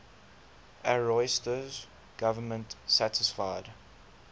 ariosto's government satisfied